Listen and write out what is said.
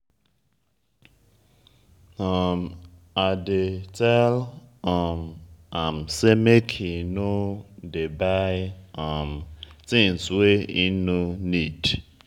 um i dey tell um am sey make e no dey buy um tins wey im nor need.